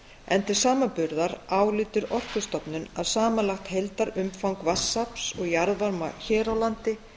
en til samanburðar álítur orkustofnun að samanlagt heildarumfang vatnsafls og jarðvarma hér á landi